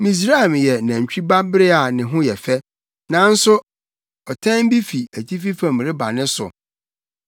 “Misraim yɛ nantwi ba bere a ne ho yɛ fɛ, nanso ɔtɛn bi fi atifi fam reba ne so.